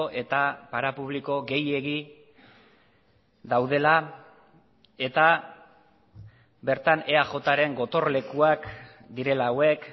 eta parapubliko gehiegi daudela eta bertan eajren gotorlekuak direla hauek